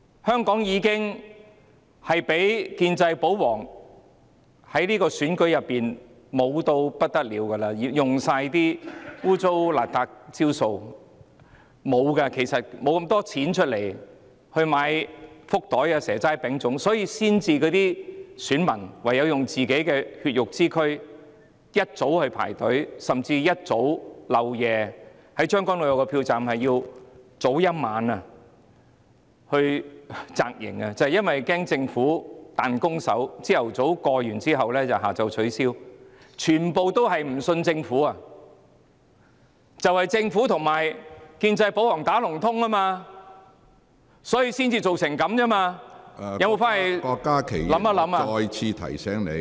香港的選舉已經任由建制、保皇操控，他們用盡所有骯髒不堪的招數，對手沒有這麼多錢買福袋、"蛇齋餅粽"，所以選民唯有用自己的血肉之軀，一早起床排隊投票，甚至將軍澳有個票站有選民要提早一晚到場扎營，就是怕政府"彈弓手"，早上夠票下午取消票站，全部人也不信任政府，正是因為政府和建制保皇串通，所以才會造成這個情況，有否回去想一想呢？